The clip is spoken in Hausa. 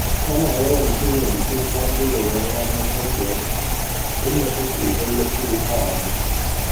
Tana yawan shirya bikin zagayowar ranar haihuwarta, inda take gayyato ƙawayenta.